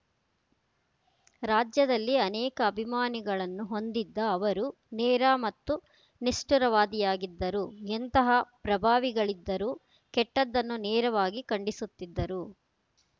ರಾಜ್ಯದಲ್ಲಿ ಅನೇಕ ಅಭಿಮಾನಿಗಳನ್ನು ಹೊಂದಿದ್ದ ಅವರು ನೇರ ಮತ್ತು ನಿಷ್ಟುರವಾದಿಯಾಗಿದ್ದರು ಎಂತಹ ಪ್ರಭಾವಿಗಳಿದ್ದರೂ ಕೆಟ್ಟದ್ದನ್ನು ನೇರವಾಗಿ ಖಂಡಿಸುತ್ತಿದ್ದರು